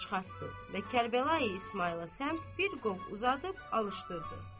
çıxartdı və Kərbəlayı İsmayıla səmt bir qovq uzadıb alışdırdı.